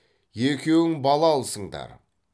екеуің бала алысыңдар